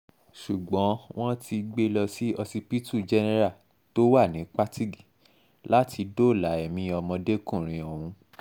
ṣùgbọ́n wọ́n ti gbé e lọ sí ọsibítù jẹ́nẹ́rà tó wà ní patigi láti dóòlà ẹ̀mí ọmọdékùnrin ọ̀hún